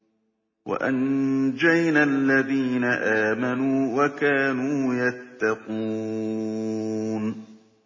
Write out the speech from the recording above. وَأَنجَيْنَا الَّذِينَ آمَنُوا وَكَانُوا يَتَّقُونَ